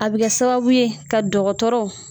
A bi kɛ sababu ye ka dɔgɔtɔrɔ